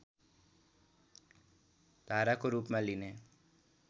धाराको रूपमा लिने